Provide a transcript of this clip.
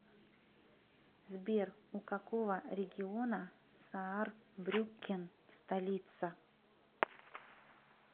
сбер у какого региона саарбрюккен столица